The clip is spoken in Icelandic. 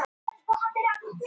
Beinir